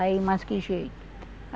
Aí, mas que jeito.